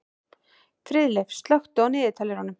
Friðleif, slökktu á niðurteljaranum.